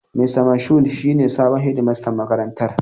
Mista Moshood shi ne sabon shedimastan makarantar.